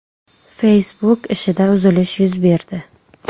Facebook ishida uzilish yuz berdi.